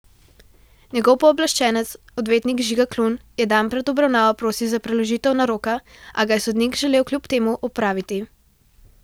Njegov pooblaščenec, odvetnik Žiga Klun, je dan pred obravnavo prosil za preložitev naroka, a ga je sodnik želel kljub temu opraviti.